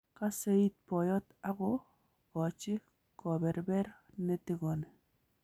Kaseiit boyot ak ko gaji keberber netigoni